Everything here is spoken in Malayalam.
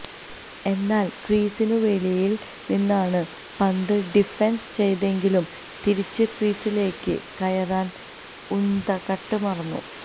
എന്നാൽ ക്രീസിന് വെളിയിൽ നിന്നാണ് പന്ത് ഡിഫൻഡ് ചെയ്തെങ്കിലും തിരിച്ച് ക്രീസിലേക്ക് കയറാൻ ഉനദ്കട്ട് മറന്നു